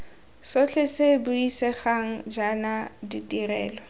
sotlhe se buisegang jaana ditirelo